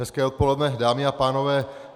Hezké odpoledne, dámy a pánové.